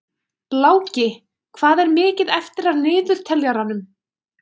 Láki, hvað er mikið eftir af niðurteljaranum?